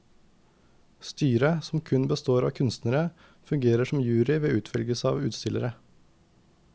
Styret, som kun består av kunstnere, fungerer som jury ved utvelgelse av utstillere.